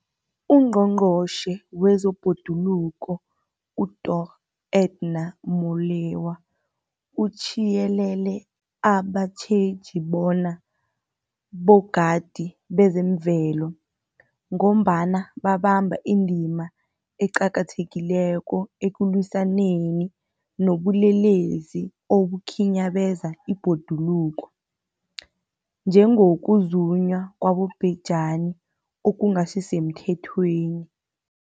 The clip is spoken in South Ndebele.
UNgqongqotjhe wezeBhoduluko uDorh Edna Molewa uthiyelele abatjheji bona bogadi bezemvelo, ngombana babamba indima eqakathekileko ekulwisaneni nobulelesi obukhinyabeza ibhoduluko, njengokuzunywa kwabobhejani okungasisemthethweni.